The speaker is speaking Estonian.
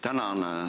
Tänan!